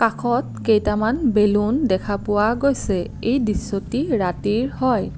কাষত কেইটামান বেলুন দেখা পোৱা গৈছে এই দৃশ্যটি ৰাতিৰ হয়।